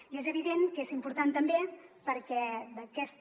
i és evident que és important també perquè d’aquesta